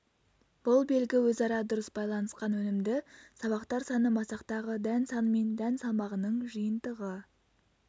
бұл белгі өзара дұрыс байланысқан өнімді сабақтар саны масақтағы дән саны мен дән салмағының жиынтығы